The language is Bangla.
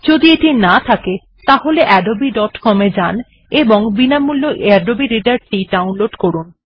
যদি এটি না থাকে তাহলে আদবে ডট কম এ যান এবং বিনামূল্য আদবে রিডার টি ডাউনলোড করুন